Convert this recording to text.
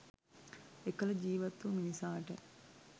එකල ජීවත් වූ මිනිසාට